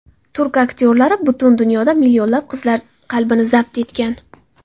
Turk aktyorlari butun dunyoda millionlab qizlar qalbini zabt etgan.